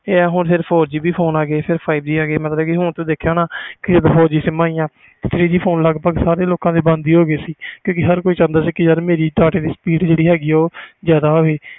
ਹੁਣ phone four G ਆ ਗਏ ਤੇ five G ਵੀ ਆ ਗਏ ਹੁਣ ਤੋਂ ਦੇਖਿਆ ਹੋਣਾ ਸਿਮ four G ਆ ਗਈਆਂ ਫੋਨ ਲੱਗ ਪੱਗ ਬੰਦ ਹੋ ਗਏ three G ਕਿਉਕਿ ਹਰ ਕੋਈ ਚਾਹੁੰਦਾ ਸੀ ਕਿ ਮੇਰੇ data ਦੀ speed ਜਿਆਦਾ ਹੋਵੇ